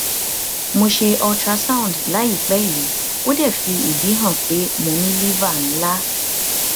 mo se ultrasound layipe yi ode fi idi han pe mo ni liver nla